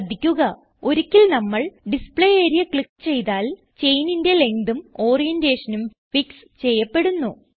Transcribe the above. ശ്രദ്ധിക്കുക ഒരിക്കൽ നമ്മൾ ഡിസ്പ്ലേ ആരിയ ക്ലിക്ക് ചെയ്താൽ ചെയിനിന്റെ lengthഉം ഓറിയന്റേഷനും ഫിക്സ് ചെയ്യപ്പെടുന്നു